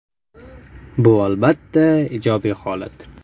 Bu, albatta, ijobiy holat.